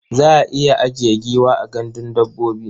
Za a iya ajiye giwa a gandun dabbobi.